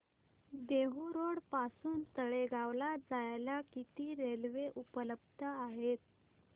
Dehu road पासून तळेगाव ला जायला किती रेल्वे उपलब्ध आहेत